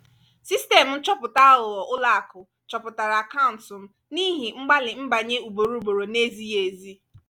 sistemụ nchọpụta aghụghọ ụlọakụ chọpụtara akaụntụ m n’ihi mgbalị nbanye ugboro ugboro na-ezighi ezi.